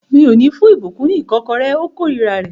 Mi ò ní fún ìbùkún ní ìkọ́kọrẹ́. Ó kórira rẹ̀